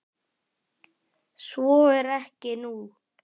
Svo er ekki nú.